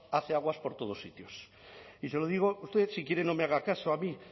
hace aguas por todos sitios y se lo digo usted si quiere no me haga caso a mí